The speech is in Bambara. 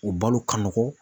O balo ka nɔgɔn.